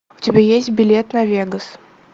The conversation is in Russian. у тебя есть билет на вегас